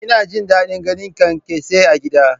Ina jin daɗin ganin kyankyasai a gidana.